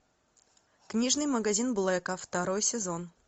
книжный магазин блэка второй сезон